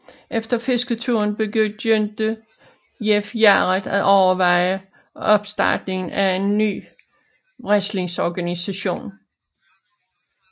Efter fisketuren begyndte Jeff Jarrett at overveje opstartningen af en ny wrestlingorganisation